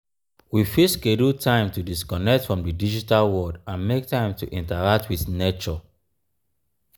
we fit schedule time to disconnect from di digital world and make time to interact with nature